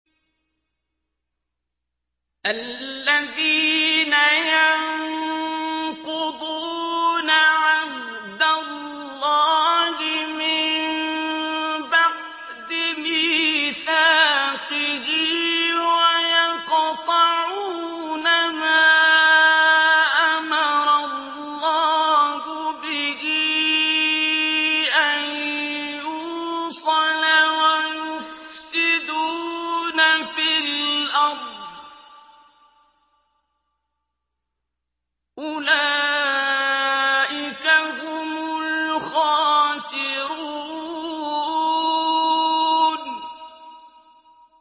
الَّذِينَ يَنقُضُونَ عَهْدَ اللَّهِ مِن بَعْدِ مِيثَاقِهِ وَيَقْطَعُونَ مَا أَمَرَ اللَّهُ بِهِ أَن يُوصَلَ وَيُفْسِدُونَ فِي الْأَرْضِ ۚ أُولَٰئِكَ هُمُ الْخَاسِرُونَ